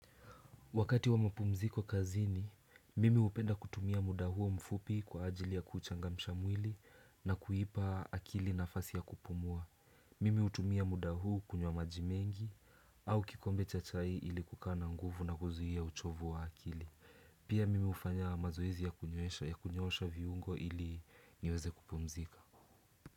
Wakati wa mapumzikokazini, mimi upenda kutumia muda huo mfupi kwa ajili ya kuchangamsha mwili na kuipa akili nafasi ya kupumua. Mimi utumia muda huu kunywa maji mengi au kikombe cha chai ili kukaa na nguvu na kuzuhia uchovu wa akili. Pia mimi ufanya mazoeze ya kunyosha viungo ili niweze kupumzika.